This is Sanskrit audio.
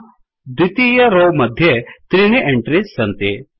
द्वितीय रौ मध्ये त्रीणि एण्ट्रिस् सन्ति